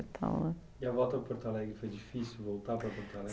e tal né. E a volta para Porto Alegre foi difícil, voltar para Porto Alegre?